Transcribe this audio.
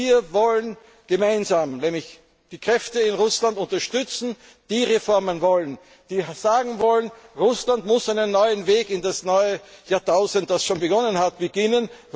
Wir wollen gemeinsam die Kräfte in Russland unterstützen, die Reformen wollen, die sagen wollen, Russland muss einen neuen Weg in das neue Jahrtausend, das schon begonnen hat, gehen.